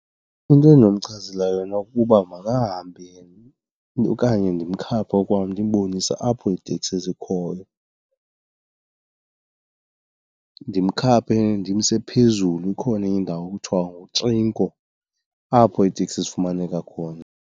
Into endinomchazela yona kukuba makahambe okanye ndimkhaphe ngokwam ndimbonise apho iiteksi zikhoyo. Ndimkhaphe ndimse phezulu, ikhona enye indawo ekuthiwa nguTrinco apho iiteksi zifumaneka khona.